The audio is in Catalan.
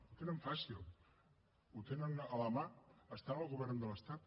ho tenen fàcil ho tenen a la mà estan al govern de l’estat